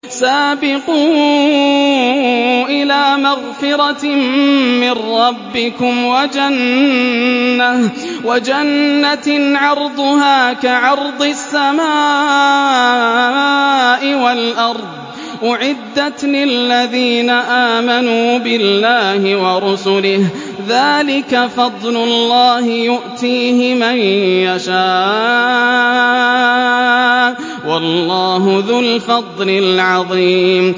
سَابِقُوا إِلَىٰ مَغْفِرَةٍ مِّن رَّبِّكُمْ وَجَنَّةٍ عَرْضُهَا كَعَرْضِ السَّمَاءِ وَالْأَرْضِ أُعِدَّتْ لِلَّذِينَ آمَنُوا بِاللَّهِ وَرُسُلِهِ ۚ ذَٰلِكَ فَضْلُ اللَّهِ يُؤْتِيهِ مَن يَشَاءُ ۚ وَاللَّهُ ذُو الْفَضْلِ الْعَظِيمِ